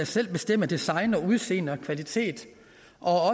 selv kan bestemme design udseende og kvalitet og